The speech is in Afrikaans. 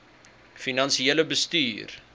finansiële bestuur